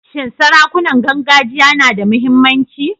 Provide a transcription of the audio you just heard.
Shin sarakunan gargajiya na da muhimmanci?